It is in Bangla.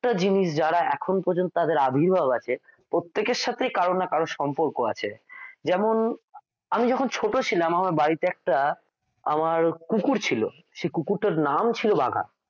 প্রত্যেকটা জিনিস যারা এখন পর্যন্ত আবির্ভাব আছে প্রত্যেকের সাথেই কারো না কারো সম্পর্ক আছে যেমন আমি যখন ছোট ছিলাম আমার বাড়িতে একটা আমার কুকুর ছিল সেই কুকুরটার নাম ছিল বাঘা